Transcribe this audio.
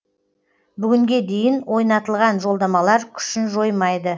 бүгінге дейін ойнатылған жолдамалар күшін жоймайды